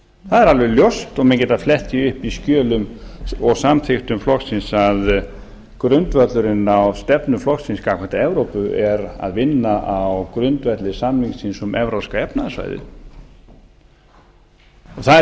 það er alveg ljóst og menn geta flett því upp í skjölum og samþykktum flokksins að grundvöllurinn að stefnu flokksins gagnvart evrópu er að vinna á grundvelli samningsins um evrópska efnahagssvæðið það er